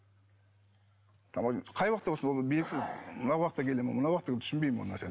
қай уақытта болсын ол белгісіз мына уақытта келе ме мына уақыт түсінбеймін ол нәрсені